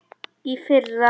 Í fyrra.